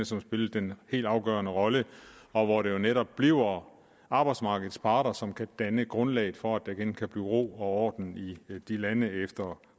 som spillede den helt afgørende rolle og hvor det jo netop bliver arbejdsmarkedets parter som kan danne grundlaget for at der igen kan blive ro og orden i de lande efter